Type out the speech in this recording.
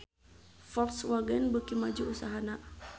Volkswagen beuki maju usahana